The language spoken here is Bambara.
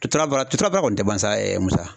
Tura baara turu baara kɔni tɛ ban sa Musa.